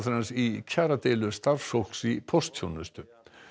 hans í kjaradeilu starfsfólks í póstþjónustu